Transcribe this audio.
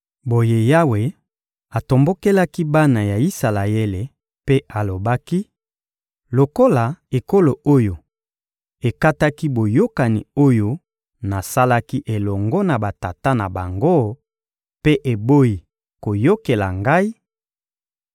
Boye Yawe atombokelaki bana ya Isalaele mpe alobaki: «Lokola ekolo oyo ekataki boyokani oyo nasalaki elongo na batata na bango mpe eboyi koyokela Ngai,